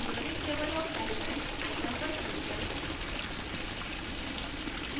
periodic table of the elements icon पर click करें